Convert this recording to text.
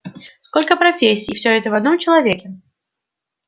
сколько профессий всё это в одном человеке